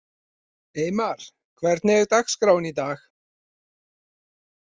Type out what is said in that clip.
Eymar, hvernig er dagskráin í dag?